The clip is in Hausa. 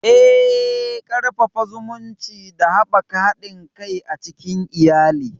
Eh, Ƙarfafa zumunci da haɓaka haɗin kai a cikin iyali.